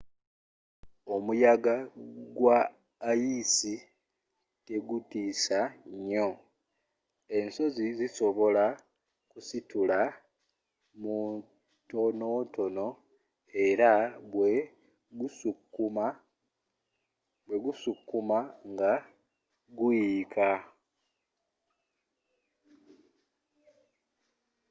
omuyaga gwa ayisi tegutiisa nnyo ensozi zisobola kusitula mutonotono era bwe gusukkamu nga guyiika